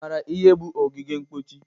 Ị mara ihe bụ ogige mkpochi?